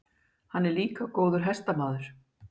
Hann er líka góður hestamaður.